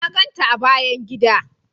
Na ganta a bayan gida.